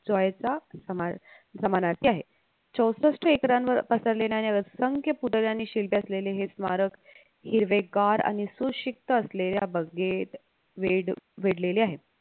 joy चा समा समानार्थी आहे चौसष्ठ एकरांवर पसरलेल्या असंख्य पुतळे आणि शिल्पे असलेले हे स्मारक हिरवेगार आणि सुषिक्त असलेल्या बगेत वेड वेढलेले आहे